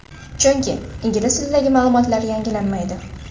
Chunki, ingliz tilidagi ma’lumotlar yangilanmaydi.